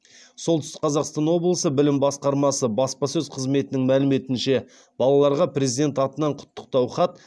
солтүстік қазақстан облысы білім басқармасы баспасөз қызметінің мәліметінше балаларға президент атынан құттықтау хат